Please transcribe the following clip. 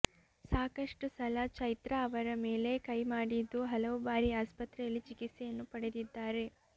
ಸಾಕಷ್ಟು ಸಲ ಚೈತ್ರಾ ಅವರ ಮೇಲೆ ಕೈ ಮಾಡಿದ್ದು ಹಲವು ಬಾರಿ ಆಸ್ಪತ್ರೆಯಲ್ಲಿ ಚಿಕಿತ್ಸೆಯನ್ನು ಪಡೆದಿದ್ದಾರೆ